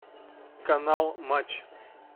канал матч